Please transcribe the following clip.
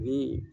Ni